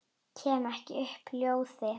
Kem ekki upp hljóði.